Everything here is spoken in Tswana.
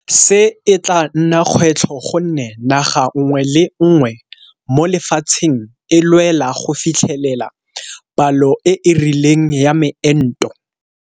Se e tla nna kgwetlho gonne naga nngwe le nngwe mo lefatsheng e lwela go fitlhelela palo e e rileng ya meento.